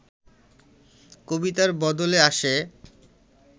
কবিতার বদলে আসে